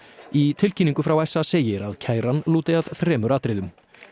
í tilkynningu frá s a segir að kæran lúti að þremur atriðum